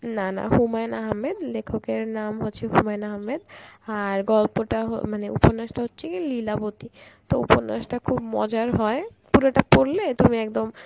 না না হুমায়ূন আহাম্মেদ, লেখকের নাম হচ্ছে হুমায়ূন আহাম্মেদ আর গল্পটা হো~ মানে উপন্যাসটা হচ্ছে কি তো উপন্যাসটা খুব মজার হয় পুরোটা পড়লে তুমি একদম